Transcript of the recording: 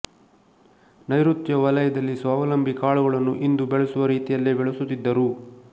ನೈಋತ್ಯ ವಲಯದಲ್ಲಿ ಸ್ವಾವಲಂಬಿ ಕಾಳುಗಳನ್ನು ಇಂದು ಬೆಳೆಸುವ ರೀತಿಯಲ್ಲೇ ಬೆಳೆಸುತ್ತಿದ್ದರು